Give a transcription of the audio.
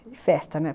Festa, né.